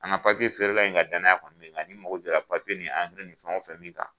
An ka feere la in ka danaya kɔni bɛ n kan ni n mago jɔra nin angiri nin fɛn o fɛn min kan